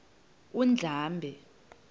undlambe